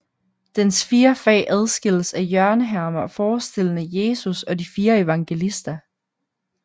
Dens fire fag adskilles af hjørnehermer forestillende Jesus og de fire evangelister